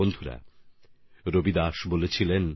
বন্ধুগণ রবিদাসজি বলতেন